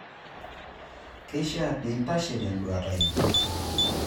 Keishiaa peeintashe tenduata ino.